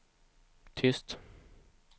tyst